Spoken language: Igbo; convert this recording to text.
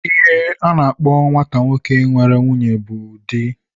Ihe a na-akpọ nwata nwoke nwere nwunye bụ di